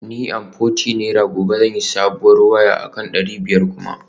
Ni amforty naira gobe zan sayi sabuwar waya akan dari biyar kuma